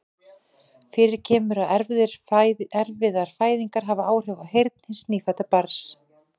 Fyrir kemur að erfiðar fæðingar hafa áhrif á heyrn hins nýfædda barns.